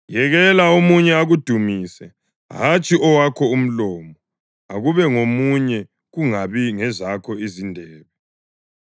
Yekela omunye akudumise, hatshi owakho umlomo; akube ngomunye, kungabi ngezakho izindebe.